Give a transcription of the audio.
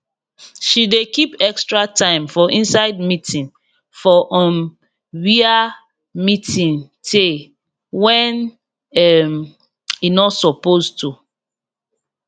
she dey keep extra time for inside meeting for um wia meeting teyy wen um e no suppose to